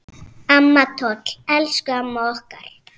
Amma Toll, elsku amma okkar.